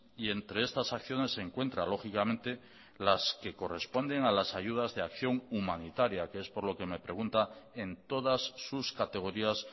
y entre estas acciones se encuentra lógicamente las que corresponden a las ayudas de acción humanitaria que es por lo que me pregunta en todas sus categorías